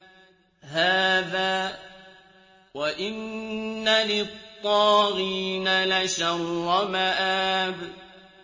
هَٰذَا ۚ وَإِنَّ لِلطَّاغِينَ لَشَرَّ مَآبٍ